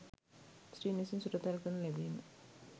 ස්ත්‍රීන් විසින් සුරතල් කරනු ලැබීම